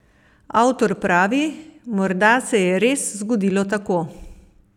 Avtor pravi: 'Morda se je res zgodilo tako.